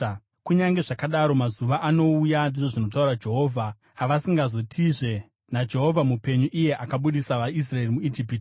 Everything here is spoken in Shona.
“Kunyange zvakadaro, mazuva anouya,” ndizvo zvinotaura Jehovha, “avasingazotizve, ‘NaJehovha mupenyu iye akabudisa vaIsraeri muIjipiti,’